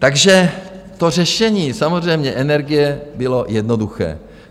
Takže to řešení samozřejmě energie bylo jednoduché.